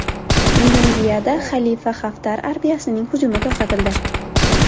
Liviyada Xalifa Xaftar armiyasining hujumi to‘xtatildi.